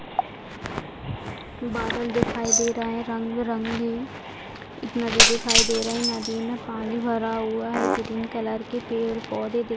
बादल दिखाई दे रहे हैं रंग-बिरंगे एतना चीज दिखाई दे रहे नदी में पानी भरा हुआ है ग्रीन कलर के पेड़-पौधे --